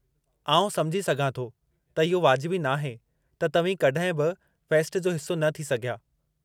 आउं समुझी सघां थो त इहो वाजिबी नाहे त तव्हीं कड॒हिं बि फ़ेस्ट जो हिस्सो न थी सघिया।